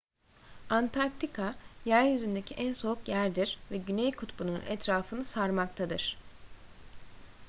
antarktika yeryüzündeki en soğuk yerdir ve güney kutbu'nun etrafını sarmaktadır